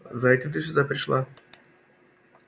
за этим ты сюда пришла